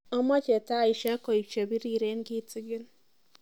Amache tieshek koe chebirere kitikin